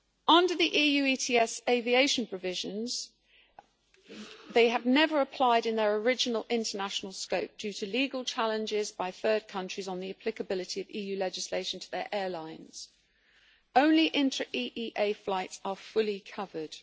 Under the EU ETS aviation provisions they have never applied in their original international scope due to legal challenges by third countries on the applicability of EU legislation to their airlines only intra EEA flights are fully covered.